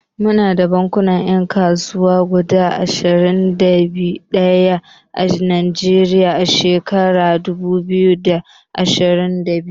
Muna da bankunan 'yan kasuwa guda ashirin da ɗaya a Najeriya a shekarar dubu biyu da ashirin da biyu.